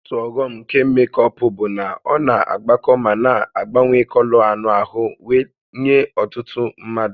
Otu ọghọm nke mékọpụ bụ na ọ na-agbakọ ma na-agbanwe kọlọ anụ ahụ wee nye ọtụtụ mmadụ